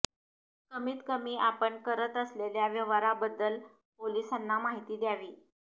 कमीत कमी आपण करत असलेल्या व्यवहाराबद्दल पोलिसांना माहिती द्यावी